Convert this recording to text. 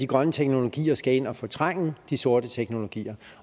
grønne teknologier skal ind og fortrænge de sorte teknologier